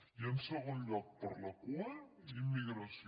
i en segon lloc per la cua immigració